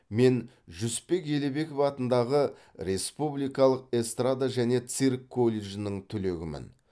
мен жүсіпбек елебеков атындағы республикалық эстрада және цирк колледжінің түлегімін